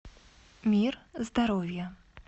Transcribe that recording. мир здоровья